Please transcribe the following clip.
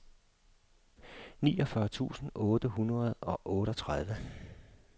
niogfyrre tusind otte hundrede og otteogtredive